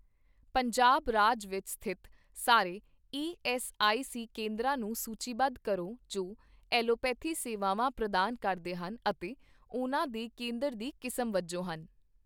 ਪੰਜਾਬ ਰਾਜ ਵਿੱਚ ਸਥਿਤ ਸਾਰੇ ਈਐੱਸਆਈਸੀ ਕੇਂਦਰਾਂ ਨੂੰ ਸੂਚੀਬੱਧ ਕਰੋ ਜੋ ਐਲੋਪੈਥੀ ਸੇਵਾਵਾਂ ਪ੍ਰਦਾਨ ਕਰਦੇ ਹਨ ਅਤੇ ਉਹਨਾਂ ਦੇ ਕੇਂਦਰ ਦੀ ਕਿਸਮ ਵਜੋਂ ਹਨ।